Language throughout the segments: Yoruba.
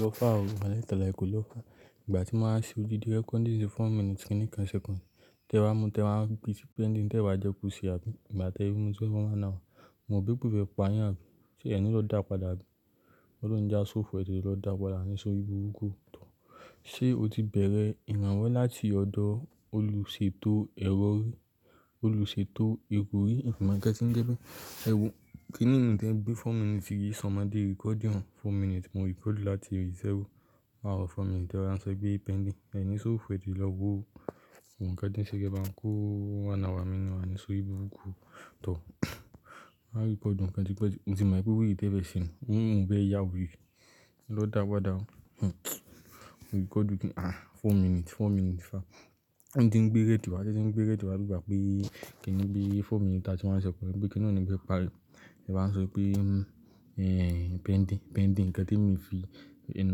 Lọ fa o walahi ta láì, kò lọ fa. Ìgbà tí mo máa ṣe òdídi recording four minutes kin ní kan sẹ́kùndì, tí ẹ bá mu, tí ẹ bá gbé tí pending, tí ẹ wá jẹ ko se àbí, ìgbà tí ẹ mú tí ẹ máa na wa, moro be pe fe payin àbí? Ṣé ẹ ní lọ dàpáda àbí? Ọlọ́run oni jẹ́ aṣòfò etetè lọ dàpáda ẹni sórí búrukú tọ́. Ṣé o ti bẹ̀rẹ̀ ìrànwọ́ láti ọ̀dọ̀ olùṣètò ẹ̀rọ rí, olùṣètò ìrò rí? Ìmọ̀lẹ̀ tí ń jẹ pé, ẹwo, kí nìyẹn bí four minutes fi yí ṣàn máa di recording four minutes, mo record láti zero, àwọn four minutes tí wọ́n á sọ pé pending, ẹni sọ fò ẹ́tete lọ́wọ́, òǹkà ti ń ṣe kí ẹ bá ń kó àná wa nínú àní só ibú òkú tọ́. A record e tí pé ju, mọ̀ti pè weré tẹ̀fẹ̀se ni, nínú ìbẹ́ yáwù ú, lọ dàpáda. Hmm, mo record kíni, ah, four minutes, four minutes fa. Ǹti ngbé rédì wà á jẹ́ n gbé rédìò wà bi ìgbà be? Kí nì bí four minutes thirty one seconds, bí i pé kí n ò ní gbé pàrọ̀. Ẹ bá ń sọ pé, ehh, pending, pending kí ẹ tí ń mí fi, ẹ n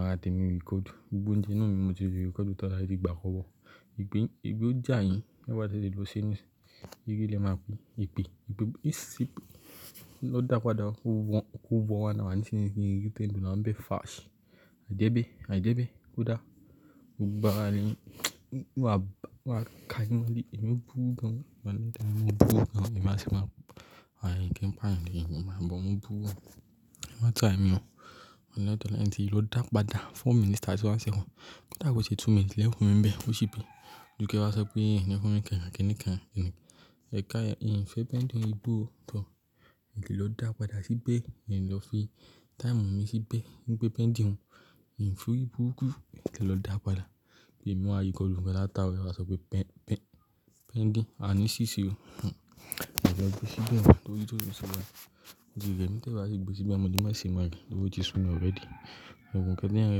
wá tẹ mi record. Gbogbo oúnjẹ inú moti í fí record tan eti gbàá sọ́ wò. Ìgbín, epe ó jà yín, ẹ gbà tí ṣe lè lọ sínú, igi lè máa pín, ìpín, ìgbín, ìsíp. Lọ dàpáda kó wọ́n, kó wọ́n àná wá níséyìn kí n rí pending máa ń bẹ́ fásì. A dé be? A jé be? Kò dáa. Òlgbogbo ara ile, wà bá, wà káàkiri mọ́ bí, èmi ò bú gan. Wà á n tẹ mí mú bú gan, èmi máa sì máa, àìní kí n pàrọ̀, èmi máa gbọ́n mú bú gan. Èmi máa try ẹmi hàn. Òǹdọ̀ tẹ́lẹ̀ ń ṣe, lọ dàpáda four minutes thirty one seconds. Kí dàkọ̀ ṣe two minutes lè fún mi ń bẹ́, ó ṣì pay. Ju kí ẹ wá sọ pé, ẹ̀ní fún mi kẹ́rù àké níkan. Ẹ ká, ì ń fẹ́ pending ì bú ò tọ́. Tètè lè lọ dàpáda síbẹ̀, ẹ̀ ní lọ fi táìmù mi síbẹ̀. Ní pé pending hùn, ì ń sú ibú òkú, ẹ̀ lè lọ dàpáda. Èmi máa rí record méjìlá táwọn ẹ wá sọ pé pen-pen-pending, a ní ṣíṣe o. Hmm, èmi ò lè gbé ṣíbẹ̀ mọ́, tó jí tó jí ṣubọ̀. Ǹdí rẹ̀ mí tẹ́wàá ṣe gbé ṣíbẹ̀ mọ́ tí máa ṣe máa rí, ló ti sún mi already. Òǹkà ti ń rẹ́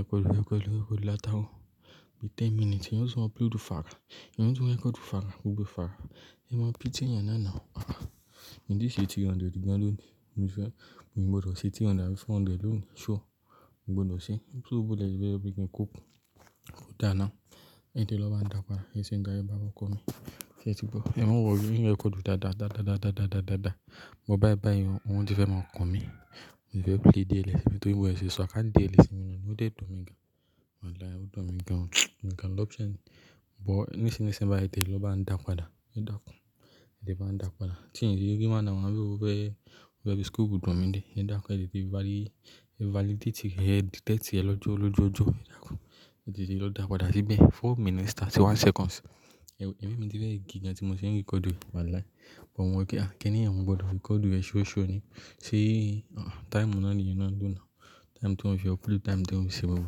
record, rẹ́ record, rẹ́ record láta ò. Bí ten minutes, ẹeyan sii upload fáa. Ẹ yọ tún rẹ́ record fára, gbogbo fára. Ẹ máa pìty ẹ̀yàn náà na ò. Ahh, ǹdí ṣe three hundred ìgbà ló ní. Ǹdí fẹ́, mo gbọdọ̀ ṣe three hundred bí four hundred ló ní, sure. Mo gbọdọ̀ ṣe. Ní sú bú lẹ̀ ẹbí ẹbí kí n kó, kó dà náà. Ẹ́ di lọ bá dàpáda, ẹṣin ń gán bá ọkọ mi. Kẹ́tì bọ̀, ẹ̀ máa ń wọ̀ rí, ǹ dí rẹ́ record dàda, dàda, dàda, dàda, dàda. Mo bá ẹ bá yẹn, wọn ò tí fẹ́ máa kun mí. Ǹdí fẹ́ play daily, bí tò ń wẹ̀ ṣe, ṣọ̀ọ́ ká daily sí mi náà, ó lè dùn mi gan. Wà á láì, ó dùn mi gan. Mo kàn lọ option, bọ̀, nísinsìnyí ń ṣe bá ẹ̀dè lọ bá ń dàpáda. Ẹ dàkú, ẹ̀ ti bá ń dàpáda. Ṣé ǹdí rí igi máa na wà bí ò wẹ́, wẹ́ bí scoop dùn mi dé. Ẹ dàkú, ẹ̀ ti rí valid, validate rẹ̀, edit text rẹ̀ lọ jó lọ jó jó, ẹ dàkú. Ẹ tètè rí lọ dàpáda síbẹ̀, four minutes thirty one seconds. Ẹ̀wù, ẹ̀ ẹ́ mi ti rẹ́ gíga tí mo ṣe ń record wà láì. Ìbọn wọ̀ kí, ah, kí ni ẹ̀ ń gbọdọ̀ record rẹ̀ ṣoṣo ni. Ṣé, ah, táìmù náà ni ìyẹn náà ń dùn náà. Táìmù tí wọn ṣe upload, táìmù tí wọn ṣe wọ̀ wò.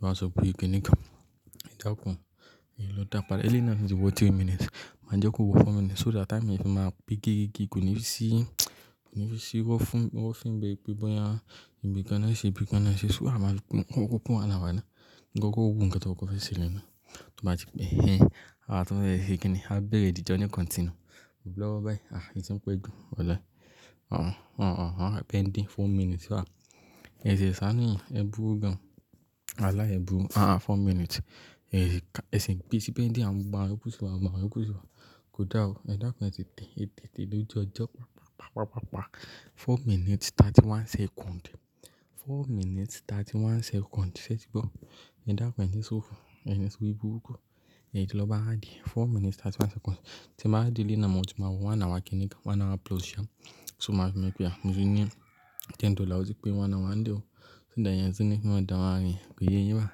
Wọ́n á sọ pé kí n ní kan. Ẹ dàkú, ẹ̀ yóò lọ dàpáda. Ẹ léèyàn náà ti wọ three minutes. Màá jẹ́ kó wo four minutes so that táìmù ẹ fi máa gbé gígí gígí, kò ní fi sí, kò ní fi sí wọ́ fún, wọ́n fín bí i pé bọ́yàn. Ìbíkan náà ṣe, ìbíkan náà ṣe sú à máa kún, kó pọ̀n àná wa náà. Ǹdí kó wù ǹkà tó kó fẹ́ ṣe lẹ́náà. Tí a bá ti pé, ehh, àá tún rẹ́ ṣe kí ni, a bẹ̀rẹ̀ ìdíje ni continue. Ò bú lọ́ bá ẹ́, ah, ẹ ti ń pẹ́ dùn. Wà láì, ah-ah, ah-ah, ah pending four minutes fa. Ẹ ṣe sánù yín, ẹ bú gan. Wà á láì ẹ bú, ah-ah four minutes. Ẹ̀ sì ká, ẹ sì gbé tí pending, à ń bá ẹ kú sí wa, bá ẹ kú sí wa. Kò dáa o, ẹ dàkú ẹ̀ ti tẹ, ẹ tẹ́ẹ̀ tẹ́ẹ̀ ló ju ọjọ́, pàpa pàpa pàpa. Four minutes thirty one second. Four minutes thirty one second. Sẹ́tì gbọ̀, ẹ dàkú ẹ̀ ni so fún, ẹni so ribúrukú. Ẹ́ di lọ bá àdí e, four minutes thirty one second. Tí ẹ bá di léèyàn náà, mo ti máa wọ àná wa kẹ́ níkan. One hour plus sha. So máa ṣe mi pé, à mo ti ní ten dollars, tí pé wọ́n àná wa ń dì o. Ṣé dà iyen ṣíní, kí wọ́n dà wá rìn. Kí ìyé yín bá.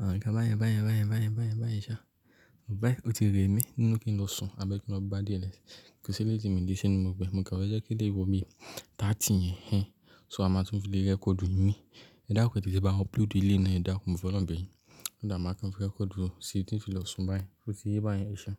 Àwọn nkan ba yẹn, bá yẹn, bá yẹn, bá yẹn, bá yẹn, bá yẹn ṣa. Ò bá yẹn, o ti rẹ́ mi, nínú kí n lọ sùn, àbẹ́ kí n lọ gbá dls. Kò ṣe léèyàn tí mi dé sí inú, mo gbé. Òǹkà wá jẹ́ kí lè wo bí thirty yẹn hẹ́. So a máa tún fi lè record mí. Ẹ dàkú ẹ̀ ti ṣe bá wọn upload léèyàn náà, ẹ dàkú mo folorun bẹ̀ yín. So that máa kàn fi record o, ṣe tí ń fi lọ sùn bá yẹn. Ṣó ti yé bá yẹn ṣa?